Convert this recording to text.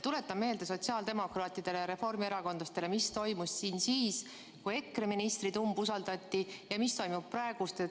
Tuletan sotsiaaldemokraatidele ja reformierakondlastele meelde, mis toimus siin siis, kui EKRE ministrit umbusaldati, ja mis toimub praegu.